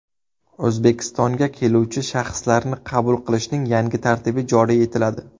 O‘zbekistonga keluvchi shaxslarni qabul qilishning yangi tartibi joriy etiladi.